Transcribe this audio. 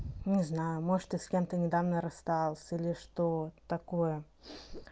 не знаю может ты с кем ты недавно расстался или что такое